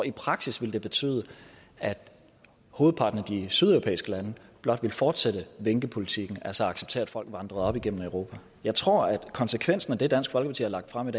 i praksis ville betyde at hovedparten af de sydeuropæiske lande blot ville fortsætte vinkepolitikken altså acceptere at folk vandrede op igennem europa jeg tror at konsekvensen af det dansk folkeparti har lagt frem